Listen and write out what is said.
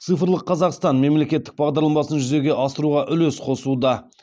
цифрлық қазақстан мемлекеттік бағдарламасын жүзеге асыруға үлес қосуда